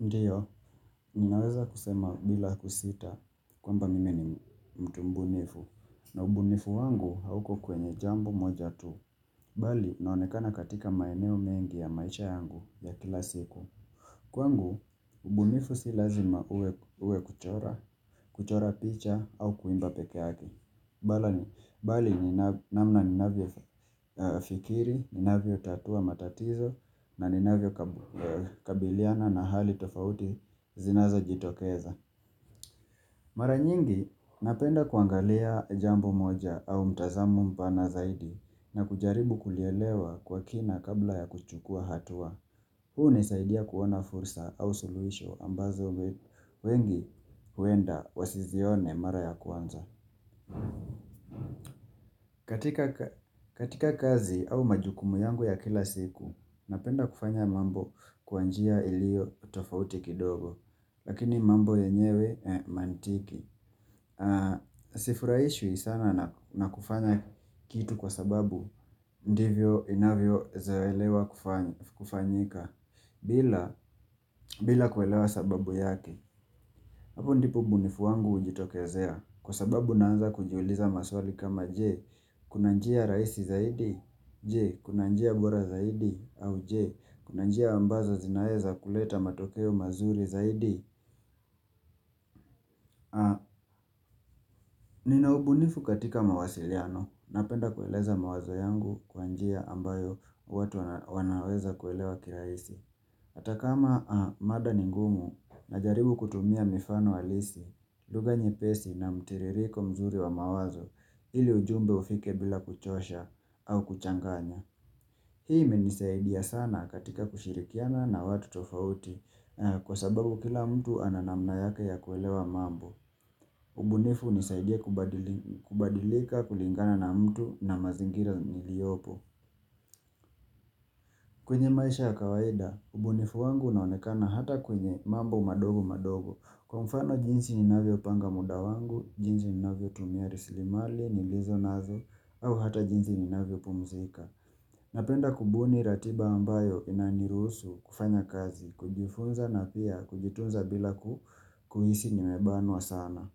Ndiyo, ninaweza kusema bila kusita kwamba mimi ni mtu mbunifu na ubunifu wangu hauko kwenye jambo moja tu. Bali, naonekana katika maeneo mengi ya maisha yangu ya kila siku. Kwangu, ubunifu si lazima uwe kuchora, kuchora picha au kuimba peke yake. Bali ni namna ninavyofikiri, ninavyotatua matatizo na ninavyokabiliana na hali tofauti zinazojitokeza Mara nyingi napenda kuangalia jambo moja au mtazamo mpana zaidi na kujaribu kulielewa kwa kina kabla ya kuchukua hatua huu unasaidia kuwa na fursa au suluhisho ambazo wengi huenda wasizione mara ya kwanza katika kazi au majukumu yangu ya kila siku napenda kufanya mambo kwa njia ilio tofauti kidogo Lakini mambo yenyewe mantiki Sifuraishwi sana na kufanya kitu kwa sababu ndivyo inavyozoelewa kufanyika bila kuelewa sababu yake. Hapo ndipo ubunifu wangu hujitokezea kwa sababu naanza kujiuliza maswali kama je Kuna njia raisi zaidi? Je, kuna njia bora zaidi? Au je, kuna njia ambazo zinaweza kuleta matokeo mazuri zaidi? Nina ubunifu katika mawasiliano napenda kueleza mawazo yangu kwa njia ambayo watu wanaweza kuelewa kirahisi Hata kama mada ni ngumu najaribu kutumia mifano halisi, lugha nyepesi na mtiririko mzuri wa mawazo ili ujumbe ufike bila kuchosha au kuchanganya Hii imenisaidia sana katika kushirikiana na watu tofauti kwa sababu kila mtu ana namna yake ya kuelewa mambo. Ubunifu hunisaidia kubadilika kulingana na mtu na mazingira niliopo. Kwenye maisha ya kawaida, ubunifu wangu unaonekana hata kwenye mambo madogo madogo. Kwa mfano jinsi ninavyopanga muda wangu, jinsi ninavyo tumia rasilimali nilizo nazo au hata jinsi ninavyopumuzika. Napenda kubuni ratiba ambayo inaniruhusu kufanya kazi, kujifunza na pia kujitunza bila kuhisi nimebanwa sana.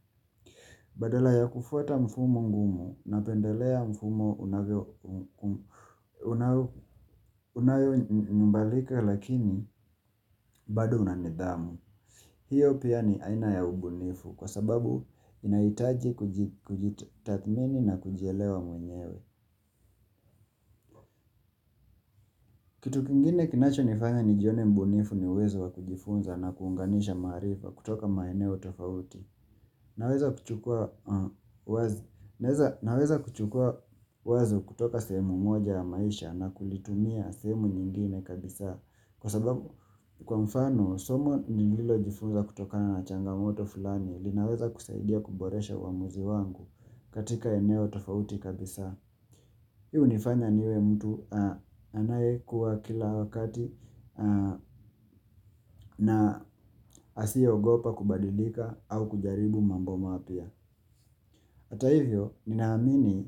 Badala ya kufuata mfumo ngumu, napendelea mfumo unayo badilika lakini bado una nidhamu. Hiyo pia ni aina ya ubunifu kwa sababu inahitaji kujitathmini na kujielewa mwenyewe. Kitu kingine kinachonifanya nijione mbunifu ni uwezo wa kujifunza na kuunganisha maarifa kutoka maeneo tofauti. Naweza kuchukua wazo kutoka sehemu moja ya maisha na kulitumia sehemu nyingine kabisa. Kwa sababu, kwa mfano somo nililojifunza kutokana na changamoto fulani linaweza kusaidia kuboresha uamuzi wangu katika eneo tofauti kabisa. Hii hunifanya niwe mtu anayekua kila wakati na asiye ogopa kubadilika au kujaribu mambo mapya. Hata hivyo, ninaamini,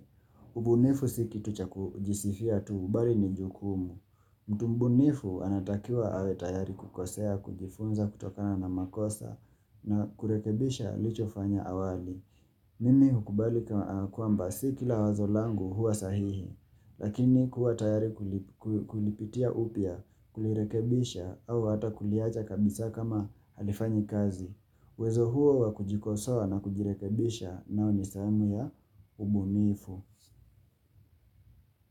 ubunifu si kitu cha kujisifia tu bali ni jukumu. Mtu mbunifu anatakiwa awe tayari kukosea, kujifunza kutokana na makosa na kurekebisha alichofanya awali. Mimi hukubali kwamba si kila wazo langu huwa sahihi, lakini kuwa tayari kulipitia upya, kulirekebisha au hata kuliacha kabisa kama halifanyi kazi. Uwezo huo wa kujikosoa na kujirekebisha nayo ni sehemu ya ubunifu.